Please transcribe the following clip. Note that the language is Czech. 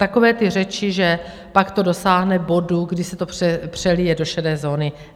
Takové ty řeči, že pak to dosáhne bodu, kdy se to přelije do šedé zóny.